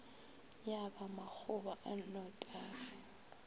ya ba makgoba a nnotagi